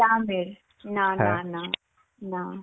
কাঁচা আমের. না না না. না.